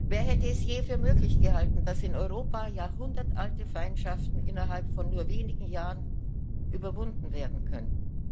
Wer hätte es je für möglich gehalten, dass in Europa jahrhundertealte Feindschaften innerhalb von nur wenigen Jahren überwunden werden könnten?